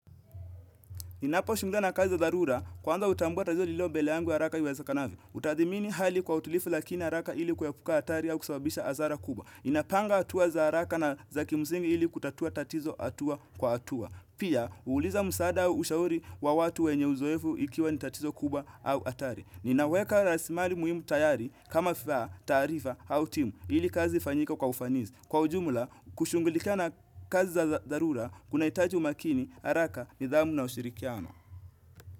Ninapo shungulika na kazi za dharura kwanza utambua tatizo lililo mbele yangu haraka iwezakanavyo. Utathimini hali kwa utulifu lakini haraka ili kuepuka atari au kusababisha asara kubwa. Napanga hatua za haraka na za kimsingi ili kutatua tatizo hatua kwa hatua. Pia, uuliza msaada wa ushauri wa watu wenye uzoefu ikiwa ni tatizo kubwa au hatari. Ninaweka rasimari muhimu tayari kama vifaa, taarifa au timu ili kazi ifanyike kwa ufanizi. Kwa ujumula, kushungulikana kazi za dharura, kunaitaji umakini, haraka, nidhamu na ushirikiano.